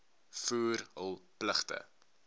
voer hul pligte